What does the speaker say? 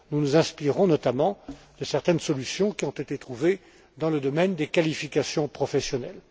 Nous nous inspirerons, notamment, de certaines solutions qui ont été trouvées dans le domaine des qualifications professionnelles.